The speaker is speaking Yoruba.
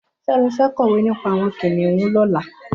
Femi fẹ̀ kọwé nipà awọn kiniùn lọ̀lá